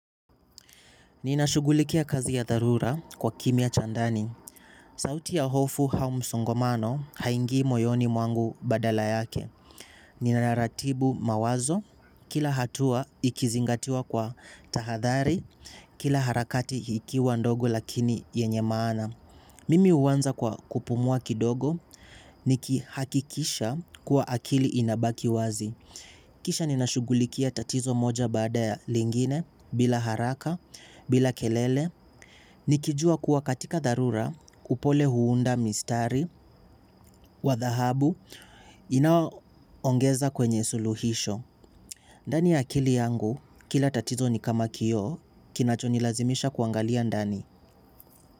Ninashugulikia kazi ya dharura kwa kimya cha ndani. Sauti ya hofu au msongamano haingii moyoni mwangu badala yake. Ninaratibu mawazo, kila hatua ikizingatiwa kwa tahadhari, kila harakati ikiwa ndogo lakini yenye maana. Mimi huanza kwa kupumua kidogo, nikihakikisha kuwa akili inabaki wazi. Kisha ninashugulikia tatizo moja baada ya lingine bila haraka bila kelele. Nikijua kuwa katika dharura upole huunda mistari wa dhahabu inao ongeza kwenye suluhisho. Ndani ya akili yangu kila tatizo ni kama kioo kinacho nilazimisha kuangalia ndani.